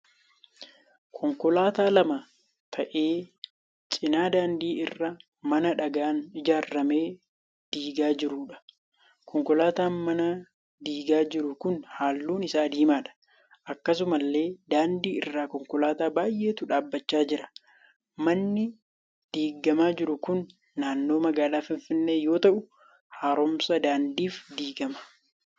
Konkolaataa lama ta'ee cina daandii irraa mana dhagaan ijaarame diigaa jiruudha. Konkolaataan mana diigaa jiru kun halluun isaa diimaadha. Akkasumallee daandii irra konkolaataa baay'eetu dhaabbachaa jira. Manni diigamaa jiru kun naannoo magaalaa Finfinnee yoo ta'u haaromsa daandiif diigama.